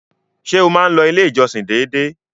Ṣé o máa n lọ ilé ìjọsìn dédé?